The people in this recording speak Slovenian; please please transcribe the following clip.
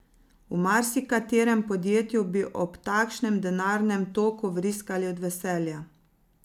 V marsikaterem podjetju bi ob takšnem denarnem toku vriskali od veselja.